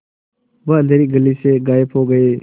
वह अँधेरी गली से गायब हो गए